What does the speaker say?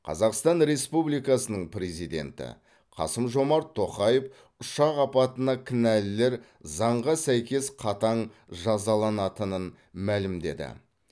қазақстан республикасының президенті қасым жомарт тоқаев ұшақ апатына кінәлілер заңға сәйкес қатаң жазаланатынын мәлімдеді